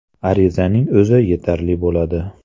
Arizaning o‘zi yetarli bo‘ladi.